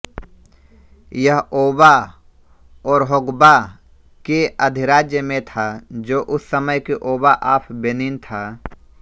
यह Oba Orhogbua के अधिराज्य में था जो उस समय के ओबा ऑफ बेनिन था